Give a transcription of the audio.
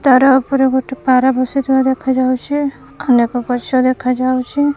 ତାର ଉପରେ ଗୋଟେ ପାରା ବସିଥିବାର ଦେଖାଯାଉଛି ଅନେକ ଗଛ ଦେଖାଯାଉଛି।